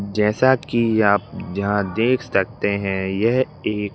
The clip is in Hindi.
जैसा कि आप यहांदेख सकते हैं यह एक--